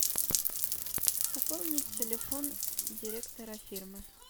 пополнить телефон директора фирмы